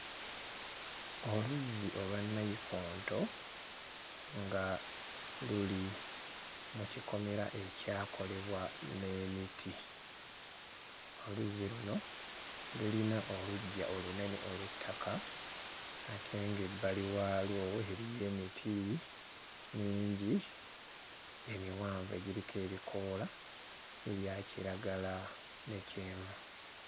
Oluzzi olwa nnayikonto nga luli mu kikomera ekyakolebwa n'emiti, oluzzi luno lulina oluggya olunene olw'ettaka ate ng'ebbali waalwo eriyo emiti mingi emiwanvu egiriko ebikoola ebya kiragala ne kyenvu.